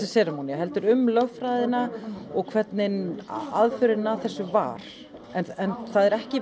heldur um lögfræðina og hvernig aðferðin að þessu var en það er ekki